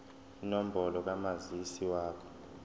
inombolo kamazisi wakho